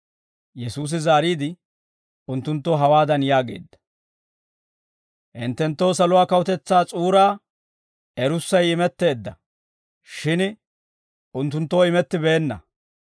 Yesuusi zaariide, unttunttoo hawaadan yaageedda; «Hinttenttoo saluwaa kawutetsaa s'uuraa erussay imetteedda; shin unttunttoo imettibeenna.